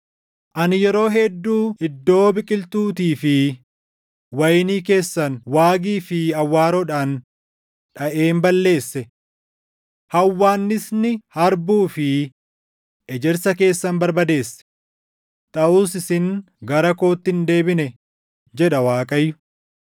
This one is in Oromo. “Ani yeroo hedduu iddoo biqiltuutii fi wayinii keessan waagii fi awwaaroodhaan dhaʼeen balleesse. Hawwaannisni harbuu fi ejersa keessan barbadeesse; taʼus isin gara kootti hin deebine” jedha Waaqayyo.